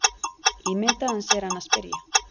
Ímyndaði hann sér hana spyrja.